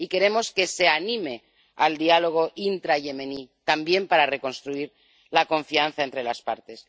Y queremos que se anime al diálogo intrayemení, también para reconstruir la confianza entre las partes.